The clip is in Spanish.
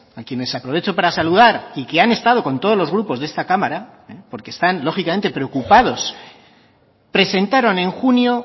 a quienes aprovecho para saludar y que han estado con todos los grupos de esta cámara porque están lógicamente preocupados presentaron en junio